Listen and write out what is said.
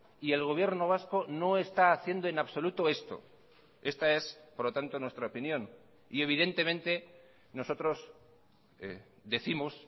y el gobierno vasco no está haciendo en absoluto esto esta es por lo tanto nuestra opinión y evidentemente nosotros décimos